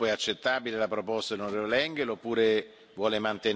Rodrigues, per il suo gruppo è accettabile la proposta dell'on.